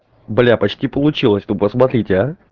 бля почти получилось ну посмотрите а